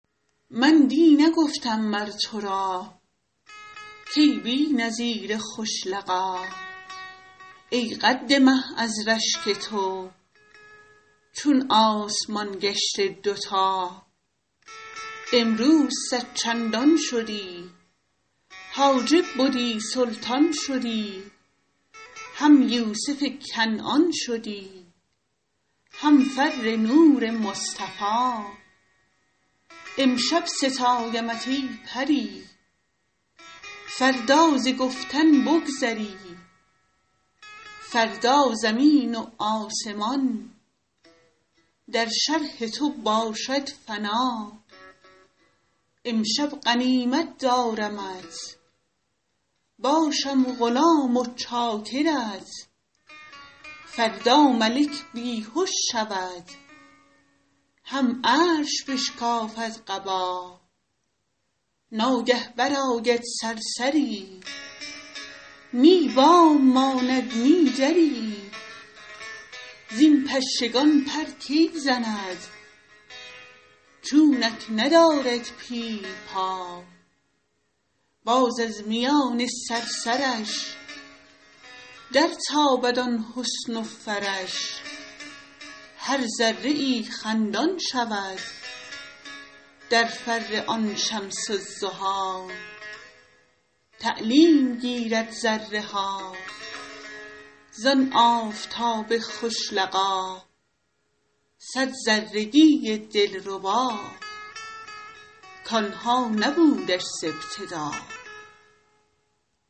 من دی نگفتم مر تو را کای بی نظیر خوش لقا ای قد مه از رشک تو چون آسمان گشته دوتا امروز صد چندان شدی حاجب بدی سلطان شدی هم یوسف کنعان شدی هم فر نور مصطفی امشب ستایمت ای پری فردا ز گفتن بگذری فردا زمین و آسمان در شرح تو باشد فنا امشب غنیمت دارمت باشم غلام و چاکرت فردا ملک بی هش شود هم عرش بشکافد قبا ناگه برآید صرصری نی بام ماند نه دری زین پشگان پر کی زند چونک ندارد پیل پا باز از میان صرصرش درتابد آن حسن و فرش هر ذره ای خندان شود در فر آن شمس الضحی تعلیم گیرد ذره ها زان آفتاب خوش لقا صد ذرگی دلربا کان ها نبودش ز ابتدا